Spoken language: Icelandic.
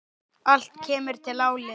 Allt kemur til álita.